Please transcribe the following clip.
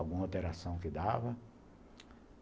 Alguma alteração que dava.